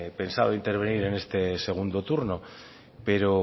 pensado intervenir en este segundo turno pero